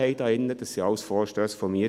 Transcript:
Das waren alles Vorstösse von mir.